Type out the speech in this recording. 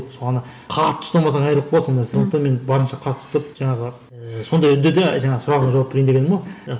сол ана қатты ұстамасаң айрылып қаласың сондықтан мен барынша қатты ұстап жаңағы сондай үнде де жаңағы сұрағыңа жауап берейін дегенім ғой